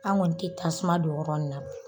An kɔni tɛ tasuma don yɔrɔ in na